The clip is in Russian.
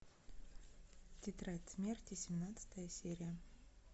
тетрадь смерти семнадцатая серия